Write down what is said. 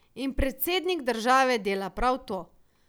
In predsednik države dela prav to.